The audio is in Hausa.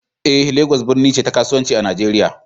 eh, Legas birni ce ta kasuwanci a Najeriya